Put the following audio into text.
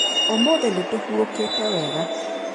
Ũmũthĩ nĩtũhurũkĩte wega.